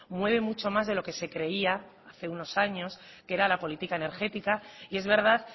mueve mucho más de lo que se creía hace unos años que era la política energética y es verdad